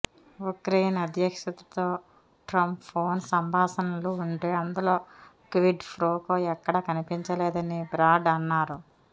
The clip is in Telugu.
ఉక్రెయిన్ అధ్యక్షుడితో ట్రంప్ ఫోన్ సంభాషణలు వింటే అందులో క్విడ్ ప్రోకో ఎక్కడా కనిపించలేదని బ్రాడ్ అన్నారు